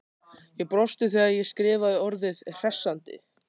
Ég brosti þegar ég skrifaði orðið hressandi.